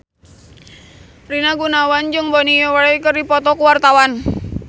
Rina Gunawan jeung Bonnie Wright keur dipoto ku wartawan